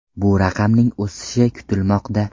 Bu raqamning o‘sishi kutilmoqda.